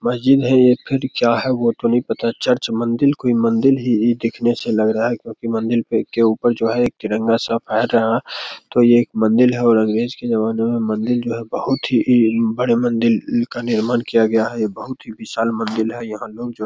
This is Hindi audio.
मस्जिद है। ये फिर क्या है ये वो तो नहीं पता चर्च मंदिल कोई मंदिर ही इ दिखने से लग रहा है। क्योकि मंदिल पे के ऊपर जो है एक तिरंगा सब फेहर रहा तो ये एक मंदिल है और अंग्रेज के ज़माने में मंदिल जो है बहुत ही इ बड़े मंदिल का निर्माण किया गया ये बहुत ही विशाल मंदिल है। यहाँ लोग जो --